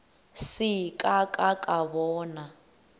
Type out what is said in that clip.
se ka ka ka bona